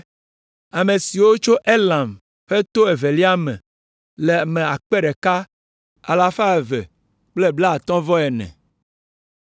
Ame siwo tso Elam ƒe to evelia me le ame akpe ɖeka alafa eve kple blaatɔ̃-vɔ-ene (1,254).